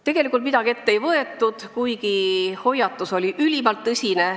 Tegelikult midagi ette ei võetud, kuigi hoiatus oli ülimalt tõsine.